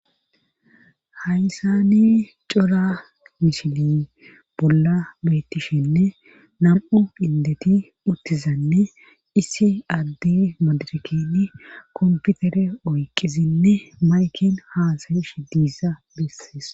haysani cora misiley bolla bettishenne nam7u indeti uttizanne issi addi madirkini komputere oyqizinne maykin haasayishe diza bessees